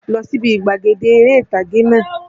Lọ síbi gbàgede eré ìtàgé náà!